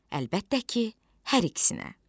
Əlbəttə ki, hər ikisinə.